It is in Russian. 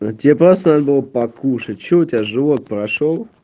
но тебе просто надо было покушать что у тебя живот прошёл